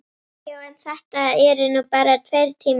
Já, en þetta eru nú bara tveir tímar.